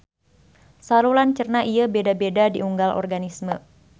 Saluran cerna ieu beda-beda di unggal organisme.